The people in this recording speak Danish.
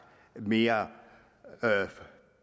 mere